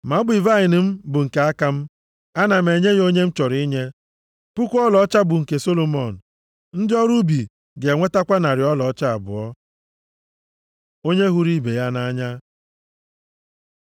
Ma ubi vaịnị m bụ nke aka m. Ana m enye ya onye m chọrọ inye. Puku ọlaọcha bụ nke Solomọn, ndị ọrụ ubi ga-enwetakwa narị ọlaọcha abụọ. Onye hụrụ ibe ya nʼanya